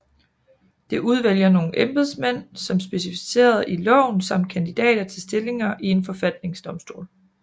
Det udvælger nogle embedsmænd som specificeret i loven samt kandidater til stillinger i en forfatningsdomstol